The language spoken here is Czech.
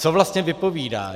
Co vlastně vypovídá?